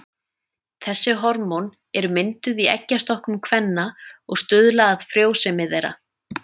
Þessi hormón eru mynduð í eggjastokkum kvenna og stuðla að frjósemi þeirra.